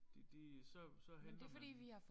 De de så så henter man dem